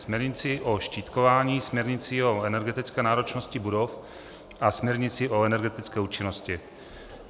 Směrnicí o štítkování, směrnicí o energetické náročnosti budov a směrnicí o energetické účinnosti.